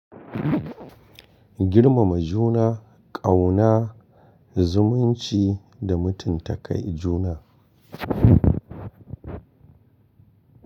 Girmama juna, ƙauna, zumunci da mutunta kai juna.